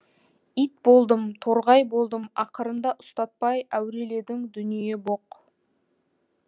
ит болдым торғай болдым ақырында ұстатпай әуреледің дүние боқ